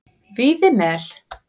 Víðimel